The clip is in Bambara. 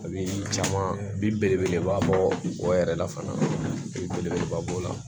A bi caman bi belebeleba bɔ o yɛrɛ la fana belebeleba b'o la